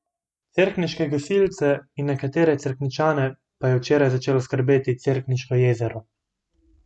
Cerkniške gasilce in nekatere Cerkničane pa je včeraj začelo skrbeti Cerkniško jezero.